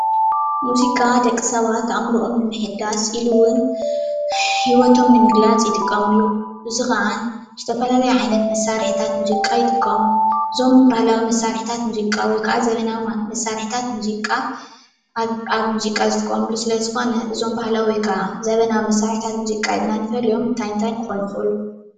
ሙዚቃ ደቂ ሰባት ኣእምሮኦም ንምሕዳስ ኢሉ እዉን ሂወቶም ንምግላፅ ይጥቀሙሉ። እዚ ኸዓ ዝተፈላለዩ ዓይነት መሳርሕታት ሙዚቃ ይጥቀሙ። እዞም ባህላዊ መሳርሕታት ሙዚቃ ወይ ከዓ ዘመናዊ መሳርሕታት ሙዚቃ ኣብ ኣብ ሙዚቃ ዝጥቀሙሉ ስለዝኾነ እዞም ባህላዊ ወይ ክዓ ዘመናዊ መሳርሕታት ሙዚቃ ኢልና ንፈልዮም እንታይ እንታይ ክኾኑ ይኽእሉ?